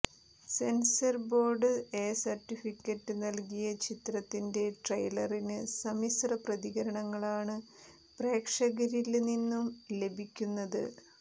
censor board A certificate നല്കിയ ചിത്രത്തിന്റെ ട്രെയിലറിന് സമ്മിശ്രപ്രതികരണങ്ങളാണ് പ്രേക്ഷകരില് നിന്നും ലഭിയക്കുന്നത്